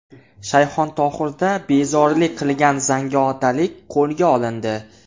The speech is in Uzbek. Shayxontohurda bezorilik qilgan zangiotalik qo‘lga olindi.